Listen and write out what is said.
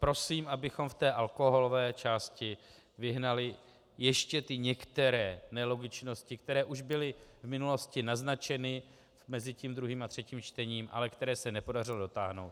Prosím, abychom v té alkoholové části vyhnali ještě ty některé nelogičnosti, které už byly v minulosti naznačeny mezi tím druhým a třetím čtením, ale které se nepodařilo dotáhnout.